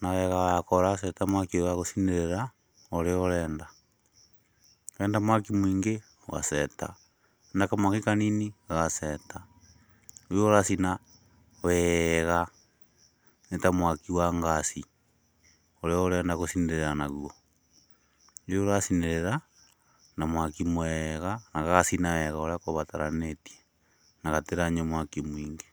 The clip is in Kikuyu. na wega wako ũraceta mwaki ũrĩa ũgũcinĩrĩra ũrĩa ũrenda, wenda mwaki mũingĩ, ũgaceta, wenda kamwaki kanini, ũgaceta, rĩu ũracina wega nĩ ta mwaki wa ngaci, ũrĩa ũrenda gũcinĩrira naguo, rĩu ũracinĩrĩra na mwaki mwega na gagacina wega ũrĩa gũbataranĩtie na gatiranyua mwaki mũingĩ.